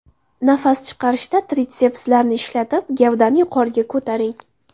Nafas chiqarishda tritsepslarni ishlatib, gavdani yuqoriga ko‘taring.